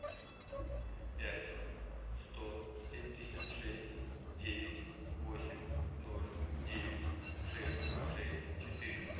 пять сто семьдесят шесть девять восемь ноль девять шесть шесть четыре